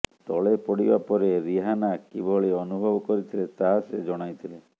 ତଳେ ପଡ଼ିବା ପରେ ରିହାନା କିଭଳି ଅନୁଭବ କରିଥିଲେ ତାହା ସେ ଜଣାଇଥିଲେ